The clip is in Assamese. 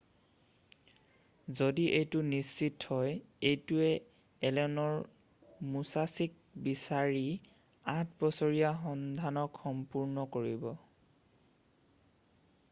যদি এইটো নিশ্চিত হয় এইটোৱে এলেনৰ মোচাচিক বিচাৰি আঠ বছৰীয়া সন্ধানক সম্পূৰ্ণ কৰিব